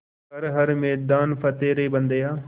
कर हर मैदान फ़तेह रे बंदेया